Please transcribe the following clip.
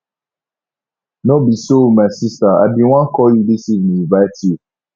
no be so my sister i bin wan call you dis evening invite you